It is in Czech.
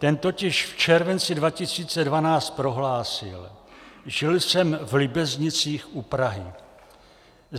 Ten totiž v červenci 2012 prohlásil: Žil jsem v Líbeznicích u Prahy.